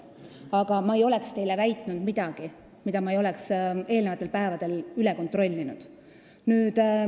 Aga ma ei oleks teile väitnud midagi, mida ma ei oleks eelnevatel päevadel üle kontrollinud.